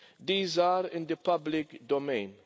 These are in the public domain.